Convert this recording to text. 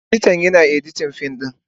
Editan, Yana editin fim din.